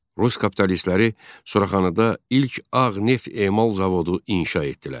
Rus kapitalistləri Suraxanıda ilk ağ neft emal zavodu inşa etdilər.